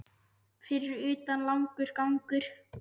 Fyrir utan langur gangur.